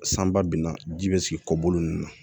San ba binna ji bɛ sigi kɔbolo ninnu na